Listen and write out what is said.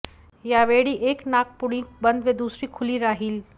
यावेळी एक नाकपुडी बंद व दुसरी खुली राहील